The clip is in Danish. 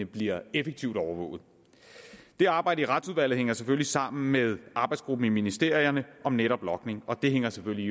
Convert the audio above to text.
bliver effektivt overvåget det arbejde i retsudvalget hænger selvfølgelig sammen med arbejdsgruppen i ministerierne om netop logning og det hænger selvfølgelig